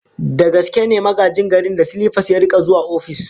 Da gaske ne Magajin Garin da silipas ya rika zuwa ofis?